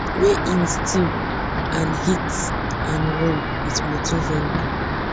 wey im steal and hit and run wit motor vehicle